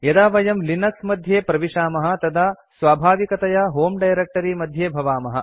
यदा वयं लिनक्स मध्ये प्रविशामः तदा स्वाभाविकतया होमे डायरेक्ट्री मध्ये भवामः